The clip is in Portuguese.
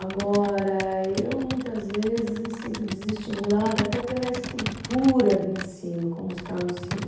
Agora, eu muitas vezes me sinto desestimulada até pela estrutura do ensino, como está o ensino.